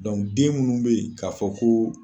den minnu bɛ yen k'a fɔ ko.